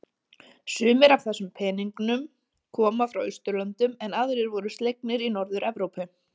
Sumir af þessum peningnum koma frá Austurlöndum en aðrir voru slegnir í Norður-Evrópu.